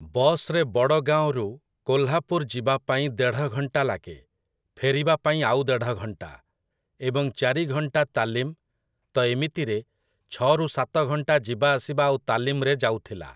Bus ରେ ବଡ଼ଗାଓଁରୁ କୋହ୍ଲାପୁର୍ ଯିବାପାଇଁ ଦେଢ଼ଘଣ୍ଟା ଲାଗେ, ଫେରିବା ପାଇଁ ଆଉ ଦେଢ଼ଘଣ୍ଟା, ଏବଂ ଚାରିଘଣ୍ଟା ତାଲିମ୍, ତ ଏମିତିରେ, ଛଅ ରୁ ସାତ ଘଣ୍ଟା ଯିବାଆସିବା ଆଉ ତାଲିମରେ ଯାଉଥିଲା ।